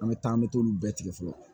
An bɛ taa an bɛ t'olu bɛɛ tigɛ fɔlɔ